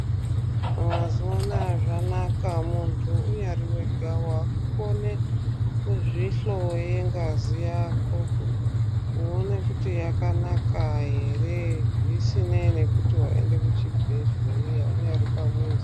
Mazuwa anaya zvanaka muntu unyari wega waakukone kuzvi hloye ngazi yako kuone kuti yakanaka here zvisinei nekuti waenda kuzvibhedhleya unyari pamuzi.